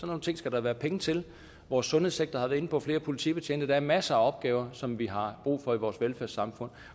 nogle ting skal der være penge til vores sundhedssektor har jeg været inde på flere politibetjente der er masser af opgaver som vi har brug for i vores velfærdssamfund